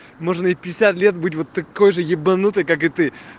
можно и в пятьдесят лет быть вот такой же ебанутой как и ты